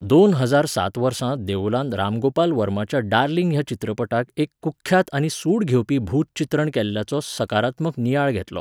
दोन हजार सात वर्सा देओलान रामगोपाल वर्माच्या डार्लिंग ह्या चित्रपटाक एक कुख्यात आनी सूड घेवपी भूत चित्रण केल्ल्याचो सकारात्मक नियाळ घेतलो.